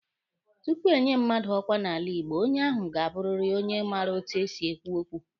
Tupu enye mmadụ ọkwa n'ala Igbo, onye ahụ ga-abụrịrị onye maara etu esi ekwu okwu.